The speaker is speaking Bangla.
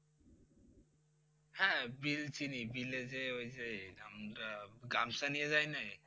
হ্যাঁ বিল চিনি বিলে যেয়ে ওই যে আমরা গামছা নিয়ে যায় নে